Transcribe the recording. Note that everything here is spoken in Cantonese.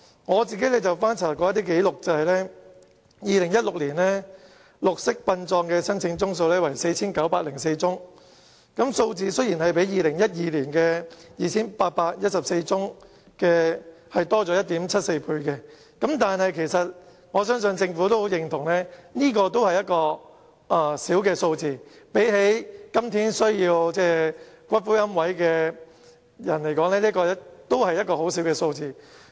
我曾翻查紀錄，顯示2016年綠色殯葬的申請宗數為 4,904 宗，較2012年的 2,814 宗增加了 1.74 倍，但我相信政府也會認同這只是一個小數目，相對於今天龕位的需求而言，這真的微不足道。